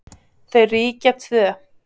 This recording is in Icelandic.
Þau ríkja tvö.